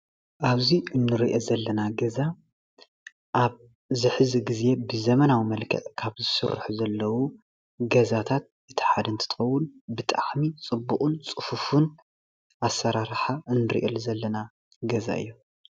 ኣብዚ እንሪኦ ዘለና ገዛ ኣብዚ ሕዚ ግዜ ብዘበናዊ መልክዕ ካብ ዝስርሑ ዘለው ገዛታት እቲ ሓደ እንትትከውን ብጣዕሚ ፅቡቅን ፅፉፍን ኣሰራርሓ እንሪአሉ ዘለና ገዛ እዩ፡፡